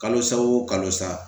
Kalo sa wo kalo sa